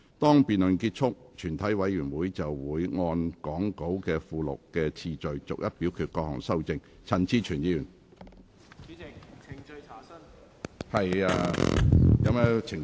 當辯論結束後，全體委員會會按講稿附錄的次序，逐一表決各項修正案。